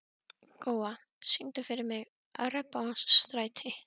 Góa, syngdu fyrir mig „Regnbogans stræti“.